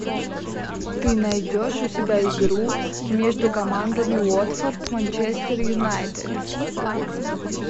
ты найдешь у себя игру между командами уотфорд манчестер юнайтед